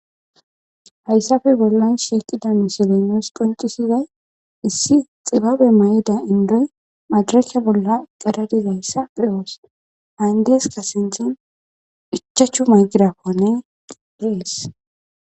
hayssafe bollon shiiqida musilenes quncisizay issi xibabe may7ida indoy madiracsha bolla qeradizayssa pewoos hayndeeska sinthen ichachchu maygirafone dees